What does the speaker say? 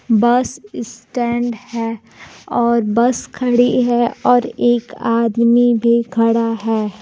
बस इसटेंड है और बस खड़ी है और एक आदमी भी खड़ा है।